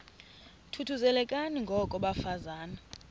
thuthuzelekani ngoko bafazana